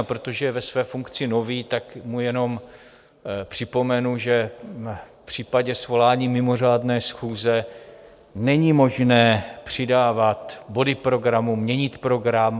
A protože je ve své funkci nový, tak mu jenom připomenu, že v případě svolání mimořádné schůze není možné přidávat body programu, měnit program.